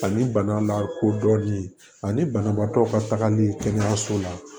Ani bana lakodɔnni ani banabaatɔ ka tagali kɛnɛyaso la